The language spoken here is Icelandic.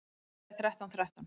Númerið er þrettán þrettán.